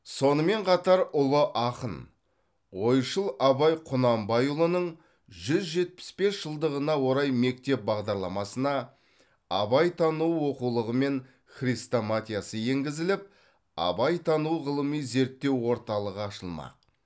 сонымен қатар ұлы ақын ойшыл абай құнанбайұлының жүз жетпіс бес жылдығына орай мектеп бағдарламасына абайтану оқулығы мен хрестоматиясы енгізіліп абайтану ғылыми зерттеу орталығы ашылмақ